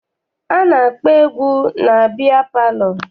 A na-akpọ egwu na biya palọ.